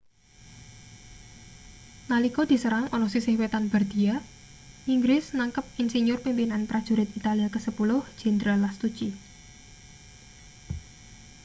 nalika diserang ana sisih wetan bardia inggris nangkep insinyur-pimpinan prajurit italia kasepuluh jenderal lastucci